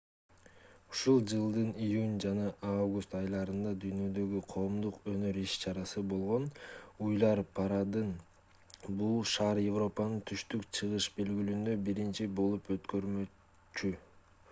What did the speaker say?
ушул жылдын июнь жана август айларында дүйнөдөгү коомдук өнөр иш-чарасы болгон уйлар парадын бул шаар европанын түштүк-чыгыш бөлүгүндө биринчи болуп өткөрмөкчү